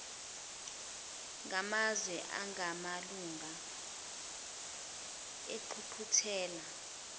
ngamazwe angamalunga engqungquthela